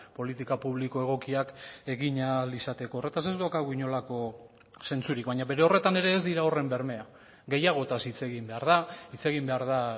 politika publiko egokiak egin ahal izateko horretaz ez daukagu inolako zentzurik baina bere horretan ere ez dira horren bermea gehiagotaz hitz egin behar da hitz egin behar da